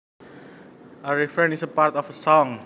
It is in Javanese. A refrain is part of a song